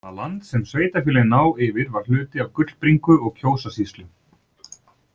Það land sem sveitarfélögin ná yfir var hluti af Gullbringu- og Kjósarsýslu.